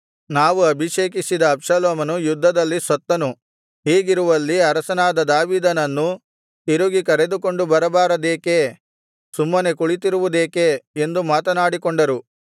ನಾವು ಅಭಿಷೇಕಿಸಿದ ಅಬ್ಷಾಲೋಮನು ಯುದ್ಧದಲ್ಲಿ ಸತ್ತನು ಹೀಗಿರುವಲ್ಲಿ ಅರಸನಾದ ದಾವೀದನನ್ನು ತಿರುಗಿ ಕರೆದುಕೊಂಡು ಬರಬಾರದೇಕೆ ಸುಮ್ಮನೆ ಕುಳಿತಿರುವುದೇಕೆ ಎಂದು ಮಾತನಾಡಿಕೊಂಡರು